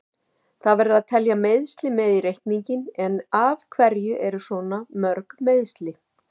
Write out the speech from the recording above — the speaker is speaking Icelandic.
Það verður að telja meiðsli með í reikninginn, en af hverju eru svona mörg meiðsli?